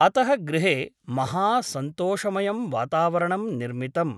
अतः गृहे महासन्तोषमयं वातावरणं निर्मितम् ।